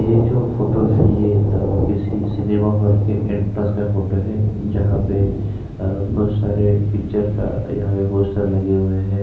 ये जो फोटो है ये आ किसी सिनेमा हॉल के एंट्रेंस का फोटो है जहाँ पे बहुत सारे पिक्चरस का यहाँ पर पोस्टर्स लगे हुए है।